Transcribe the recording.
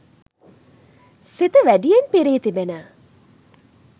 සිත වැඩියෙන් පිරී තිබෙන